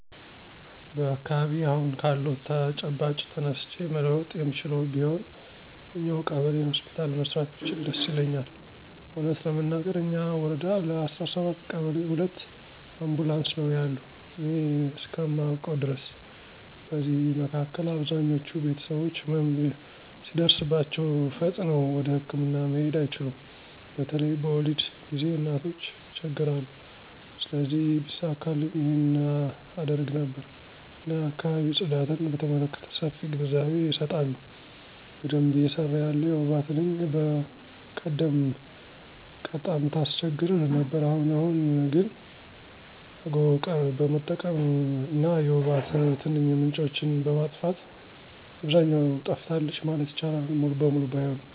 በአካባቢየ አሁን ካለው ተጨባጭ ተነስቼ መለወጥ የምችለው ቢሆን እኛው ቀበሌ ሆስፒታል መስራት ብችል ደስ ይለኛል። እውነት ለመናገር እኛ ወረዳ ለ17 ቀበሌ ሁለት አምቡላንስ ነው ያሉ እኔ እስከማውቀው ድረስ። በዚህ መካከል አብዛኞች ቤተሰቦች ህመም ሲደርስባቸው ፈጥነው ወደህክምና መሄድ አይችሉም በተለይ በወሊድ ጊዜ እናቶች ይቸገራሉ። ስለዚህ ቢሳካልኝ ይህን አደርግ ነበር። እና የአካባቢ ጽዳትን በተመለከተ ሰፊ ግንዛቤ አሰጣለሁ። በደንብ እየሰራ ያለ የወባ ትንኝ በቀደም ቀጣም ታስቸግር ነበር አሁን አሁን ግን አጎቀር በመጠቀም እና የወባ ትንኝ ምንጮችን በማጥፋት አብዛኛው ጠፍታለች ማለት ይቻላል ሙሉ በሙሉ ባይሆንም።